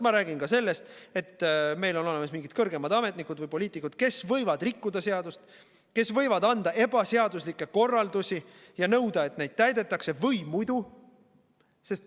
Ma räägin ka sellest, et meil on olemas mingid kõrgemad ametnikud või poliitikud, kes võivad rikkuda seadust, kes võivad anda ebaseaduslikke korraldusi ja nõuda, et neid täidetakse, või muidu ...